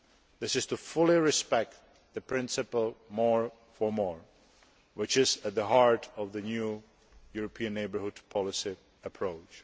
This is to fully respect the principle more for more', which is at the heart of the new European neighbourhood policy approach.